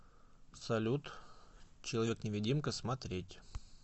салют человек невидимка смотреть